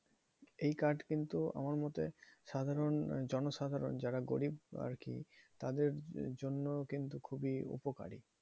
এই card কিন্তু আমার মতে, সাধারণ জনসাধারণ যারা গরিব আরকি তাদের জন্য কিন্তু খুবই উপকারী।